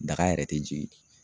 Daga yɛrɛ tɛ jigi